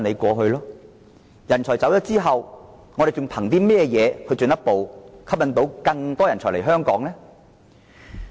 當人才離開後，香港還能憑甚麼吸引更多人才來港呢？